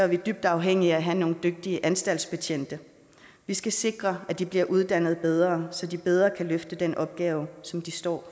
vi dybt afhængige af at have nogle dygtige anstaltsbetjente vi skal sikre at de bliver uddannet bedre så de bedre kan løfte den opgave som de står